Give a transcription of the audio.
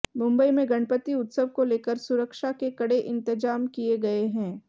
मुंबई में गणपति उत्सव को लेकर सुरक्षा के कड़े इंतजाम किए गए हैं